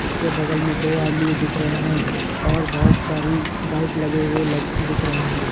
इसके बगल में दो आदमी दिख रहे हैं और बहुत सारी बाइक लगे हुए ल दिख रहे हैं।